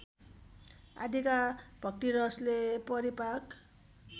आदिका भक्तिरसले परिपाक